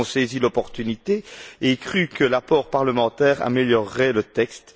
Nous avons saisi l'opportunité et cru que l'apport parlementaire améliorerait le texte.